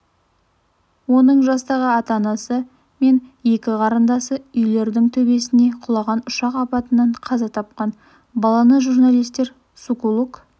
оның жастағы ата-анасы мен екі қарындасы үйлердің төбесіне құлаған ұшақ апатынан қаза тапқан баланы журналистер сокулук